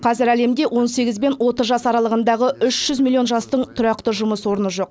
қазір әлемде он сегіз бен отыз жас аралығындағы үш жүз миллион жастың тұрақты жұмыс орны жоқ